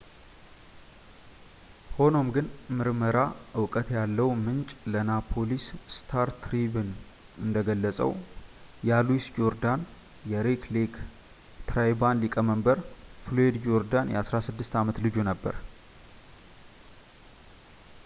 ሆኖም ግን ምርመራ እውቀት ያለው ምንጭ ለናፖሊስ ስታር-ትሪቢውን እንደገለፀው ያ ሉዊስ ጆርዳን የሬድ ሌክ ትራይባል ሊቀመንበር ፍሎያድ ጆርዳን የ16 ዓመት ልጁ ነበር